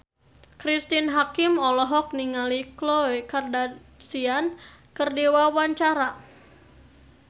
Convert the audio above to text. Cristine Hakim olohok ningali Khloe Kardashian keur diwawancara